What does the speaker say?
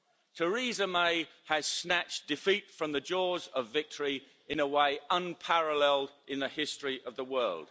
Theresa May has snatched defeat from the jaws of victory in a way unparalleled in the history of the world.